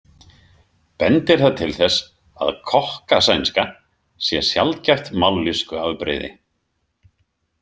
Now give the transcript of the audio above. Bendir það til þess að kokkasænska sé sjaldgæft mállýskuafbrigði.